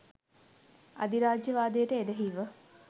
අධිරාජ්‍යවාදයට එරෙහිව